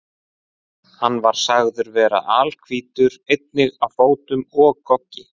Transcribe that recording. Hann var sagður vera alhvítur, einnig á fótum og goggi.